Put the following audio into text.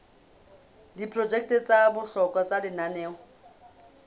diprojeke tsa bohlokwa tsa lenaneo